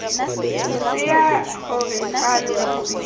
losea gore fa lo ntse